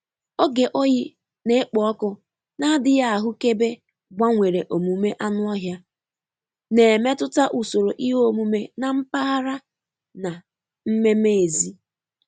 Oge oyi na-ekpo ọkụ na-adịghị ahụkebe gbanwere omume anụ ọhịa, na-emetụta usoro ihe omume na mpaghara na mmeme èzí.